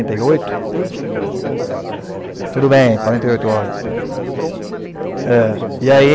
e oito. Tudo bem, quarenta e oito horas para você. Vão matar uma. É e aí,